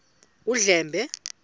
undlambe